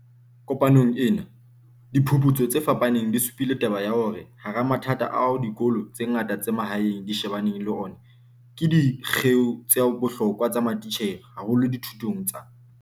Kopanong ena, diphu putso tse fapaneng di supile taba ya hore hara mathata ao dikolo tse ngata tsa mahaeng di shebaneng le ona ke di kgeo tsa bohlokwa tsa matitjhere, haholo dithutong tsa